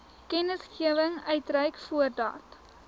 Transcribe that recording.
kennisgewing uitreik voordat